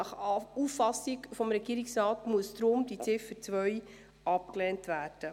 Gemäss Auffassung des Regierungsrates muss die Ziffer 2 deshalb abgelehnt werden.